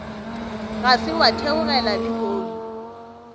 ga se wa theogela lehono